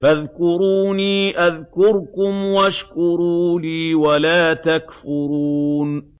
فَاذْكُرُونِي أَذْكُرْكُمْ وَاشْكُرُوا لِي وَلَا تَكْفُرُونِ